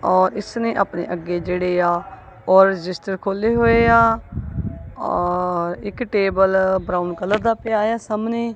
ਔਰ ਇਸ ਨੇ ਆਪਣੇ ਅੱਗੇ ਜਿਹੜੇ ਆ ਔਲ ਰਜਿਸਟਰ ਖੋਲ੍ਹੇ ਹੋਏ ਆ ਔਰ ਇੱਕ ਟੇਬਲ ਬਰਾਊਨ ਕਲਰ ਦਾ ਪਿਆ ਏ ਆ ਸਾਹਮਣੇ।